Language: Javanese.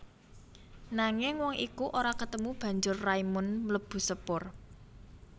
Nanging wong iku ora ketemu banjur Raimund mlebu sepur